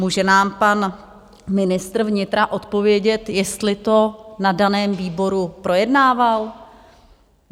Může nám pan ministr vnitra odpovědět, jestli to na daném výboru projednával?